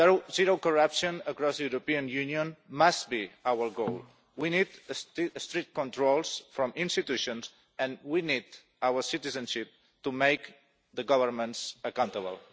Zero corruption across the European Union must be our goal. We need strict controls from institutions and we need our citizens to make governments accountable.